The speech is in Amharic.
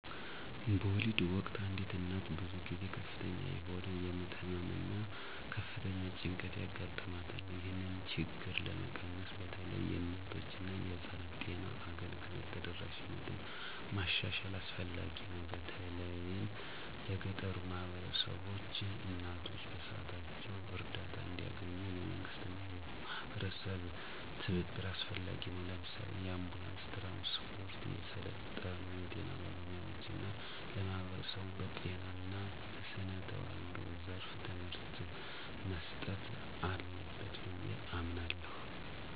በወሊድ ወቅት አንዲት እናት ብዙ ጊዜ ከፍተኛ የሆነ የምጥ ህመም እና ከፍተኛ ጭንቀት ያጋጥማታል። ይህንን ችግር ለመቀነስ በተለይ የእናቶችና የህፃናት ጤና አገልግሎት ተደራሽነትን ማሻሻል አስፈላጊ ነው፤ በተለይም ለገጠሩ ማህበረሰቦች። እናቶች በሰዓታቸው እርዳታ እንዲያገኙ፣ የመንግስትና የማህበረሰብ ትብብር አስፈላጊ ነው። ለምሳሌ፣ የአንቡላንስ ትራንስፖርት፣ የሰለጠኑ የጤና ባለሙያዎች እና ለማህበረሰቡ በጤና እና በስነ ተዋልዶ ዘርፍ ትምህርት መስጠት አለበት ብዬ አምናለሁ።